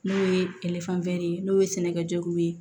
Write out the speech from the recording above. N'o ye ye n'o ye sɛnɛkɛgu ye